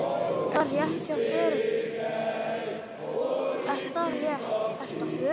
Er það rétt, ertu á förum?